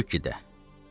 Kentukkidə.